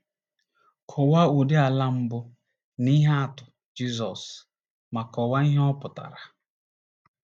Kọwaa ụdị ala mbụ na ihe atụ Jisọs, ma kọwaa ihe ọ pụtara.